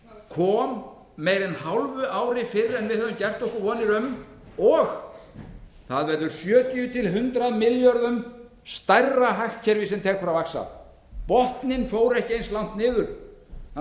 kom meira en hálfu ári fyrr en við höfðum gert okkur vonir um og það verður sjötíu til hundrað milljörðum króna stærra hagkerfi sem tekur að vaxa botninn fór ekki eins langt niður þannig að